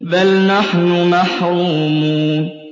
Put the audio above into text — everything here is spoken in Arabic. بَلْ نَحْنُ مَحْرُومُونَ